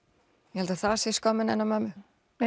ég held að það sé skömmin hennar mömmu